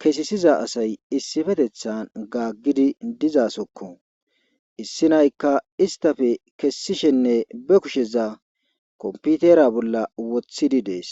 kesisiza asay issifetethan gaaggidi dizasokko issi naykka istafe kessishenne be kusheza kompitera bolla wothidi dees.